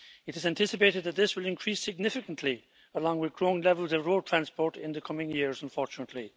It is anticipated that this will increase significantly, along with growing levels of road transport in the coming years, unfortunately.